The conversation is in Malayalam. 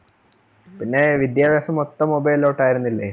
പിന്നെ വിദ്യാഭ്യാസം മൊത്തം mobile ലോട്ടായിരുന്നില്ലേ